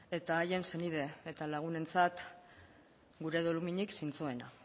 eta haien senide eta lagunentzat gure doluminik zintzoena